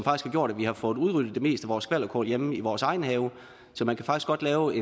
har gjort at vi har fået udryddet det meste af vores skvalderkål hjemme i vores egen have så man kan faktisk godt lave